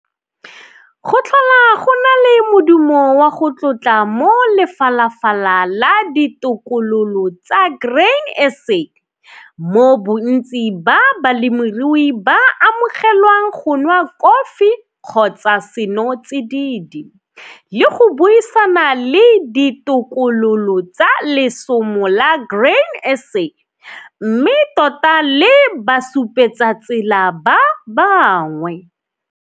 Go tlhola go na le modumo wa go tlotla mo Lefalafala la Ditokololo tsa Grain SA, mo bontsi ba balemirui ba amogelwang go nwa kofi kgotsa senotsidid le go buisana le ditokololo tsa lesomo la Grain SA mme tota le basupetsatsela ba bangwe.